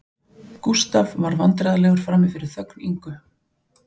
Gústaf varð vandræðalegur frammi fyrir þögn Ingu